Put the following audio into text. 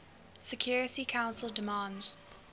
security council demands